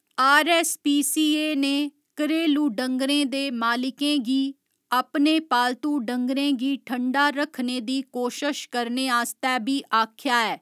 RSPCA . ने घरेलू डंगरें दे मालिकें गी अपने पालतू डंगरें गी ठण्डा रक्खने दी कोशश करने आस्तै बी आखेआ ऐ।